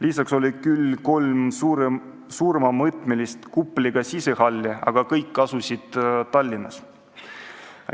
Lisaks oli meil küll kolm suuremamõõtmelist kupliga sisehalli, aga kõik asusid Tallinnas.